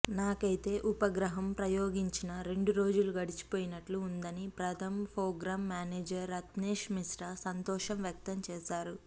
నాకైతే ఉపగ్రహం ప్రయోగించిన రెండు రోజులు గడిచిపోయినట్లు ఉందని ప్రథమ్ ప్రోగ్రామ్ మేనేజర్ రత్నేష్ మిశ్రా సంతోషం వ్యక్తం చేశారు